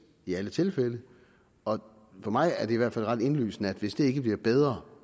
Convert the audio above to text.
i alle tilfælde og for mig er det i hvert fald ret indlysende at hvis det ikke bliver bedre